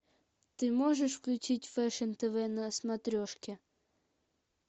ты можешь включить фэшн тв на смотрешке